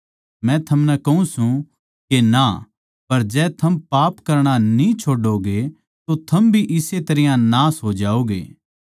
मै थमनै कहूँ सूं के ना पर जै थम पाप करणा न्ही छोड़ोगे तो थम भी इस्से तरियां नाश होओगे